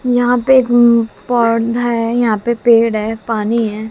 यहां पे पौधा है। यहां पे पेड़ है पानी है।